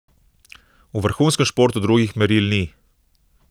V vrhunskem športu drugih meril ni.